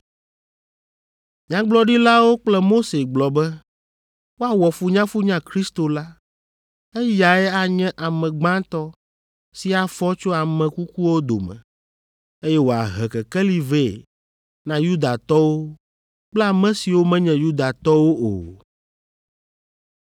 Nyagblɔɖilawo kple Mose gblɔ be, ‘Woawɔ funyafunya Kristo la, eyae anye ame gbãtɔ si afɔ tso ame kukuwo dome, eye wòahe Kekeli vɛ na Yudatɔwo kple ame siwo menye Yudatɔwo o.’ ”